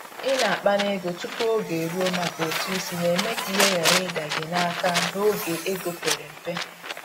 i na akpa n'ego tupu oge eruo maka ụtụ isi na-eme ka ihe ghara ịda gị n’aka n’oge ego pere mpe.